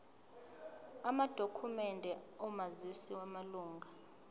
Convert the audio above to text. amadokhumende omazisi wamalunga